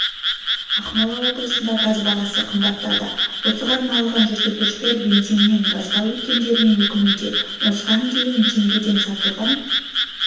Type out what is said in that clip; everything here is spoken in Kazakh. ақмола облысында газ бағасы қымбаттады осыған налыған жүргізушілер бензиннен газға өткендеріне өкінуде осыған дейін теңгеден сатылған